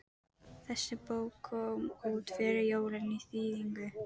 Þessi bók kom út fyrir jólin í þýðingu